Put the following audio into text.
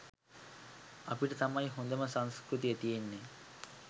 අපිට තමයි හොඳම සංස්කෘතිය තියෙන්නෙ